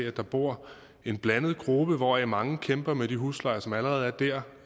at der bor en blandet gruppe hvoraf mange kæmper med de huslejer som allerede er der